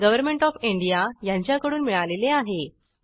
government of India यांच्याकडून मिळालेले आहे